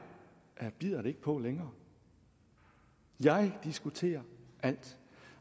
bider det ikke på længere jeg diskuterer alt